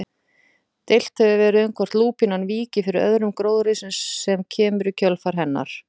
Deilt hefur verið um hvort lúpínan víki fyrir öðrum gróðri sem kemur í kjölfar hennar.